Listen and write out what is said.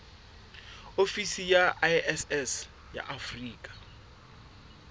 ofisi ya iss ya afrika